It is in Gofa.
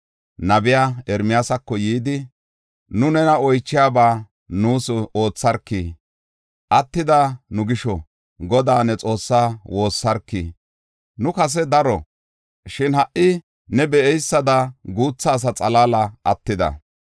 nabiya Ermiyaasako yidi, “Nu nena oychiyaba nuus ootharki. Attida nu gisho Godaa ne Xoossaa woossarki. Nu kase daro; shin ha77i ne be7eysada guutha asa xalaali attida.